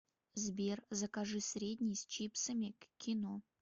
сбер закажи средний с чипсами к кино